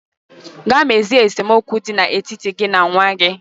Gaa mezie esemokwu dị n'etiti gị na nwa gị.